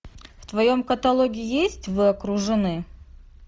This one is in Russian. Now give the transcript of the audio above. в твоем каталоге есть вы окружены